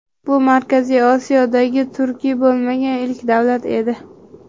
Bu Markaziy Osiyodagi turkiy bo‘lmagan ilk davlat edi.